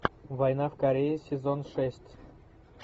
война в корее сезон шесть